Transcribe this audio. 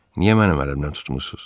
Niyə mənim əlimdən tutmursuz?